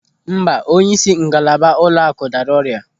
Mba, onyeisi ngalaba ụlọakụ dara ọrịa.